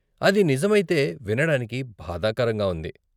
అది నిజమైతే, వినడానికి బాధాకరంగా ఉంది.